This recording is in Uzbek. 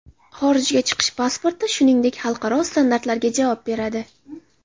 Xorijga chiqish pasporti, shuningdek, xalqaro standartlarga javob beradi.